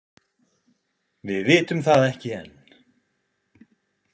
Við vitum það ekki enn.